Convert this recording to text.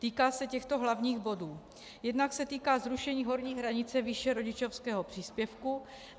Týká se těchto hlavních bodů: Jednak se týká zrušení horní hranice výše rodičovského příspěvku.